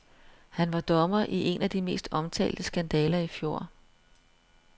Han var dommer i en af de mest omtalte skandaler i fjor.